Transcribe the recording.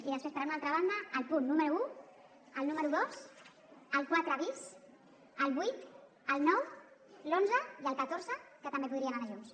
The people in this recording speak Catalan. i després per una altra banda el punt número un el número dos el quatre bis el vuit el nou l’onze i el catorze que també podrien anar junts